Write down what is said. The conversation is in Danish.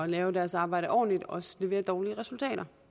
lave deres arbejde ordentligt også leverer dårlige resultater